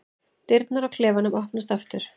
Dyrnar á klefanum opnast aftur.